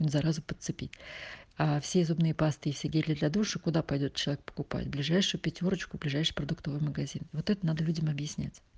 заразу подцепить а все зубные пасты и гели для душа куда пойдёт человек покупать ближайшую пятёрочку ближайший продуктовый магазин вот это надо людям объяснять